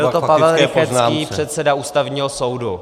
Byl to Pavel Rychetský, předseda Ústavního soudu.